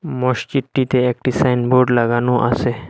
মসচিদটিতে একটি সাইনবোর্ড লাগানো আসে।